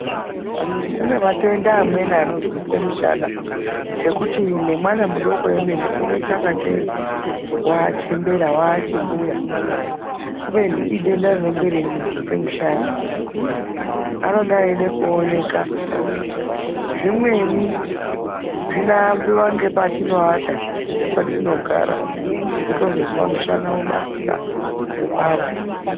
Kune matenda amweni anozwise mishana ekuti nemwana mudoko wemene unoita ingatei wachembera waachimbuya, kubeni idenda rinenge richimuzwisa mushana. Anenge achida kuonekwa zvimweni zvinoambiwa nepatinoata nepatinogara, wotozozwa mushana wobasira, wopanda.